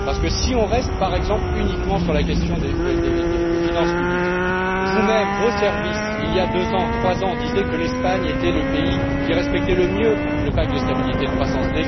Parce que si on reste par exemple uniquement sur la question des finances publiques, vous même, vos services, il y a deux ou trois ans, disiez que l'Espagne était le pays qui respectait le plus le pacte de stabilité et de croissance.